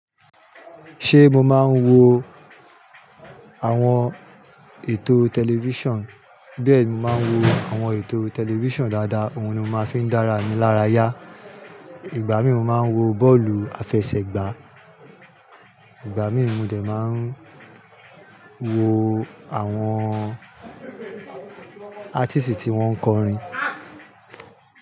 Ṣe mo maa n wo àwọn ètò tẹlifíṣàn, bẹ mo máa ń wo àwọn ètò tẹlifísàn dáadáa, òun ni ó máa fi ń dára mi lára yá. Ìgbà mí ì mo máa ń wo bọ́ọ̀lù àfẹsẹ̀gbá, ìgbà mìí mo dé máa ń wo àwọn áítísì tí wọ́n ń kọrin.